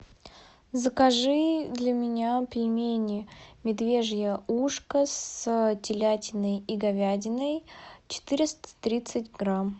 закажи для меня пельмени медвежье ушко с телятиной и говядиной четыреста тридцать грамм